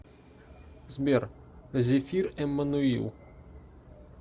сбер зефир эммануил